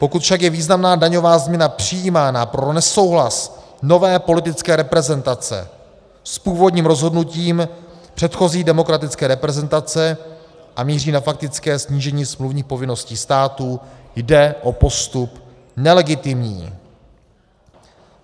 Pokud však je významná daňová změna přijímána pro nesouhlas nové politické reprezentace s původním rozhodnutím předchozí demokratické reprezentace a míří na faktické snížení smluvních povinností státu, jde o postup nelegitimní.